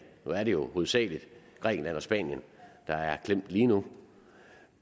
nu er det jo hovedsagelig grækenland og spanien der er klemt lige nu